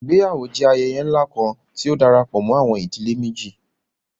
Ìgbéyàwó jẹ ayẹyẹ ńlá kan, tí ó darapọ̀ mọ àwọn ìdílé méjì